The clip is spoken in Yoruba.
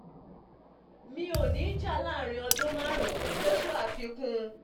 mi um ò ní jà láàrin um ọdún márùn joshua fikún